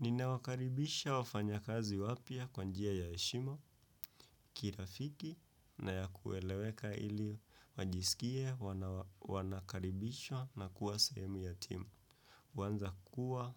Nina wakaribisha wafanya kazi wapya kwa njia ya heshima, kirafiki na ya kueleweka ili wajisikie wanakaribishwa na kuwa sahemu ya timu. Wanza kuwa